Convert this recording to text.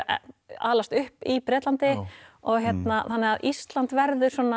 alast upp í Bretlandi þannig að Ísland verður svona